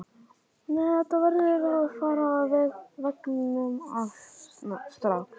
Nei, þetta verður að fara af veggnum strax!